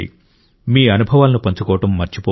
మీ అనుభవాలను పంచుకోవడం మర్చిపోవద్దు